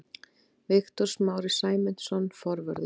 Viktor Smári Sæmundsson, forvörður.